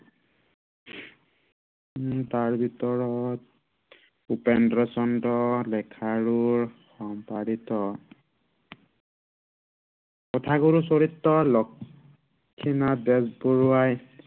উম তাৰ ভিতৰত উপেন্দ্ৰ চন্দ্ৰ লেখাৰুৰ সম্পাদিত কথাগুৰুচৰিতৰ লক্ষ্মীনাথ বেজবৰুৱাই